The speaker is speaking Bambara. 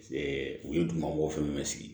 u ye duguma ko fɛn bɛɛ sigi